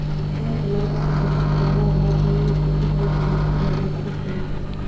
પણ તમારી પાસે પુરતાં પુરાવાઓ હોવા જોઈએ જેથી તમે તમારી ફરિયાદને સાબિત કરી શકો